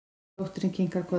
Dóttirin kinkar kolli.